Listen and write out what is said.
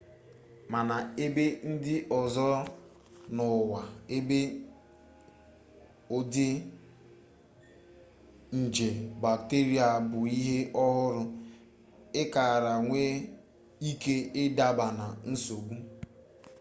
mana n'ebe ndị ọzọ n'ụwa ebe ụdị nje bakteria bụ ihe ọhụrụ ị kara nwee ike ịdaba na nsogbu